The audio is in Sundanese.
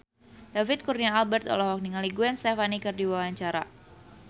David Kurnia Albert olohok ningali Gwen Stefani keur diwawancara